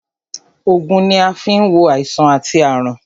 Ògùn ni a fi ń wo àìsàn àti àrùn